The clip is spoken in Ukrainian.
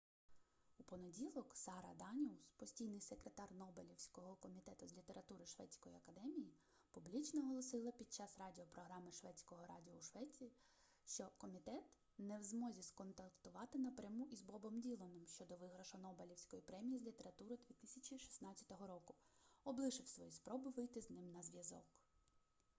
у понеділок сара даніус постійний секретар нобелівського комітету з літератури шведської академії публічно оголосила під час радіо програми шведського радіо у швеції що комітет не в змозі зконтактувати напряму із бобом діланом щодо виграшу нобелівської премії з літератури 2016 року облишив свої спроби вийти з ним на зв'язок